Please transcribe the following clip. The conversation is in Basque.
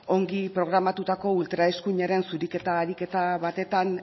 ongi programatutako ultraeskuinaren zuriketa ariketa batetan